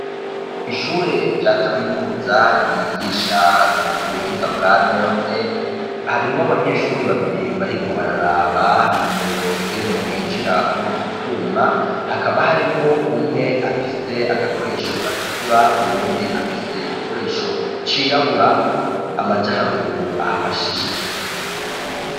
Ishure rya kaminuza ryigisha ivy'ubuhinga bwanone harimwo banyeshure babiri bariko bararaba umuriro ingene winjira muri utwo twuma, hakaba harimwo umwe afise agakoresho gatukura, uwundi afise igikoresho cirabura amaja haruguru aho afashishije intoke.